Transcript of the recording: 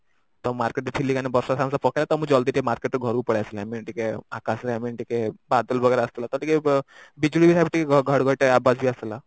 ତ market ରେ ଥିଲି ବର୍ଷା ସାଙ୍ଗେ ସାଙ୍ଗେ ପକେଇଲା ତ ଜଲ୍ଦି ଟିକେ market ରୁ ଘରକୁ ପଳେଇଆସିଲି I mean ଟିକେ ଆକାଶରେ I mean ଟିକେ ବଦଳ ଆସିଥିଲା ତ ବିଜୁଳି ଘଡଘଡି ବି ଆସିଥିଲା